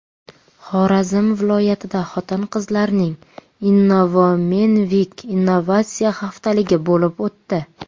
Xorazm viloyatida xotin-qizlarning Innowomenweek innovatsiya haftaligi bo‘lib o‘tdi.